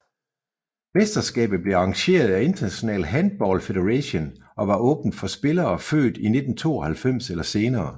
Mesterskabet blev arrangeret af International Handball Federation og var åbent for spillere født i 1992 eller senere